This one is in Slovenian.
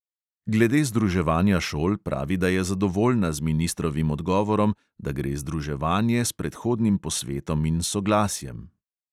Glede združevanja šol pravi, da je zadovoljna z ministrovim odgovorom, da gre združevanje s predhodnim posvetom in soglasjem.